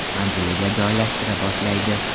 manziliga joylashtira boshlaydi.